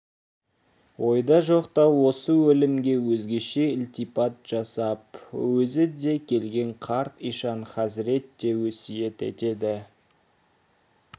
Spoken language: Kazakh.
ойда жоқта осы өлімге өзгеше ілтипат жасап өзі де келген қарт ишан хазірет те өсиет етеді